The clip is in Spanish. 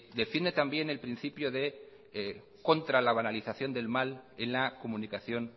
defiende también el principio de contra la banalización del mal en la comunicación